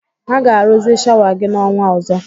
Ha ga-arụzi shawa gị n'ọnwa ọzọ